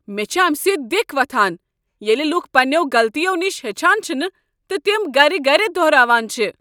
مےٚ چھ امہ سۭتۍ دِکھ وۄتھان ییٚلہِ لوٗکھ پنٛنٮ۪و غلطیو نش ہیٚچھان چھنہٕ تہٕ تمہٕ گر گر دۄہراوان چھ۔